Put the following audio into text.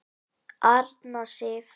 Arna Sif.